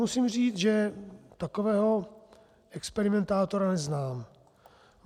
Musím říct, že takového experimentátora neznám.